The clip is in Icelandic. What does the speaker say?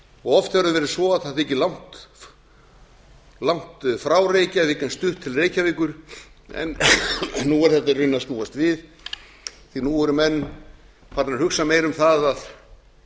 og oft hefur það verið svo að það þykir langt frá reykjavík en stutt til reykjavíkur en nú er þetta í raun að snúast við því nú farnir að hugsa meira um það að